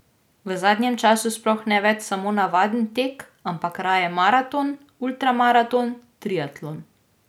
V zadnjem času sploh ne več samo navaden tek, ampak raje maraton, ultramaraton, triatlon.